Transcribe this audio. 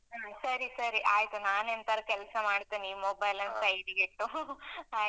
ಸರಿ ಸರಿ, ಆಯ್ತು. ನಾನೆಂತಾರೂ ಕೆಲ್ಸ ಮಾಡ್ತೇನೆ ಈ mobile ಅನ್ನು side ಗಿ ಟ್ಟು ಆಯ್ತಾ?